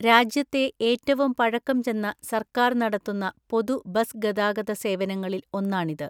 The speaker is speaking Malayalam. രാജ്യത്തെ ഏറ്റവും പഴക്കം ചെന്ന സർക്കാർ നടത്തുന്ന പൊതു ബസ് ഗതാഗത സേവനങ്ങളിൽ ഒന്നാണിത്.